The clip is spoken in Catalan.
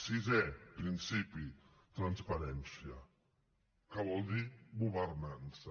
sisè principi transparència que vol dir governança